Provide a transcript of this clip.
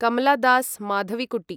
Kamala Das Madhavikutty